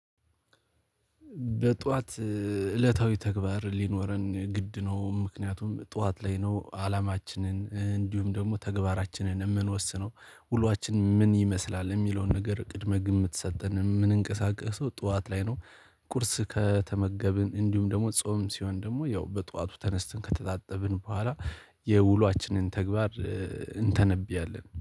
በጧት እለታዊ ተግባር ሊኖረን ግድ ነው። ምክንያቱም ጧት ላይ ነው አላማችንን እንዲሁም ደግሞ ተግባራችንን የምንወስነው ውሏችን ምን ይመስላል? የሚለውን ነገር ቅድመ ግምት ሰጠን የምንንቀሳቀሰው ጠዋት ላይ ነው። ቁርስ ከተመገብን እንዲሁም ደግሞ ጾም ሲሆን ደግሞ ያው በጧቱ ተነስተን ከተጣጠብን በኋላ የውሏችንን ተግባር እንተነብያለን